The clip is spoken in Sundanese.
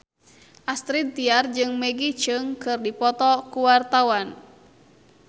Astrid Tiar jeung Maggie Cheung keur dipoto ku wartawan